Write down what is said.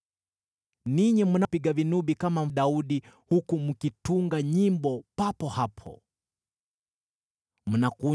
Ninyi mnapiga vinubi kama Daudi, huku mkitunga nyimbo za vinanda mbalimbali.